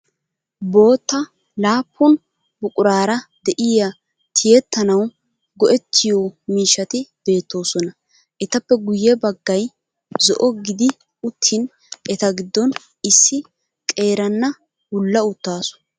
Bootta laappun buquraara de'iyaa tiyettanawu go'ettiyo miishshati beettoosona. Etappe guyye baggay zo'o gidi uttin eta giddon issi qeeranna wulla uttaasu.